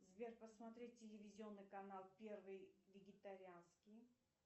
сбер посмотреть телевизионный канал первый вегетарианский